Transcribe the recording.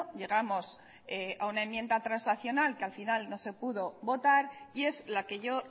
llegamos a una enmienda transaccional que al final no se pudo votar y es la que yo